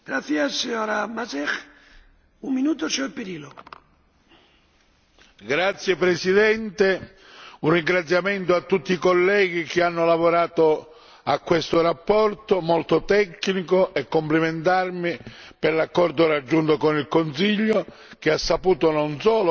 Signor Presidente, onorevoli colleghi, un ringraziamento a tutti i colleghi che hanno lavorato a questa relazione molto tecnica e complimentarmi per l'accordo raggiunto con il Consiglio, che ha saputo non solo coniugare